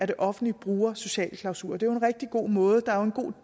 det offentlige bruger sociale klausuler det er jo en rigtig god måde der er en god